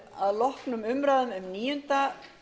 að loknum umræðum um níunda